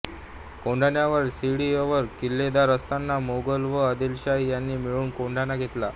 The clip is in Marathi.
कोंढाण्यावर सीडी अवर किल्लेदार असताना मोगल व आदिलशाह यांनी मिळून कोंढाणा घेतला